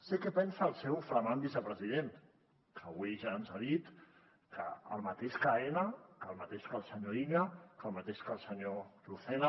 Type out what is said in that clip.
sé què pensa el seu flamant vicepresident que avui ja ens ha dit que el mateix que aena que el mateix que el senyor illa que el mateix que el senyor lucena